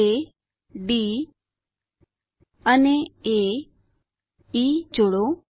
એ D અને A E બિંદુઓ જોડો